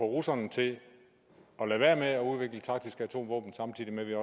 russerne til at lade være med at udvikle taktiske atomvåben samtidig med at vi